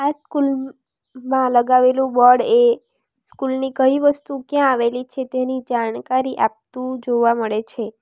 School માં લગાવેલું board એ સ્કૂલ ની કઈ વસ્તુ ક્યાં આવેલી છે તેની જાણકારી આપતું જોવા મળે છે.